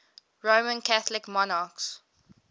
roman catholic monarchs